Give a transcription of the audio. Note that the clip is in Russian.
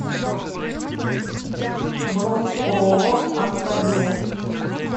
бронь ооо аркадия